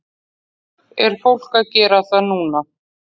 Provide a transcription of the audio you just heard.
Er fólk að gera það núna?